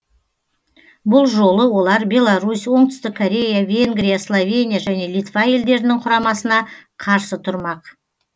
бұл жолы олар беларусь оңтүстік корея венгрия словения және литва елдерінің құрамасына қарсы тұрмақ